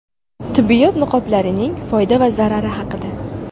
Tibbiyot niqoblarining foyda va zarari haqida.